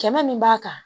Kɛmɛ min b'a kan